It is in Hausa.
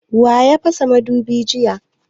Wa ya fasa mudubin jiya?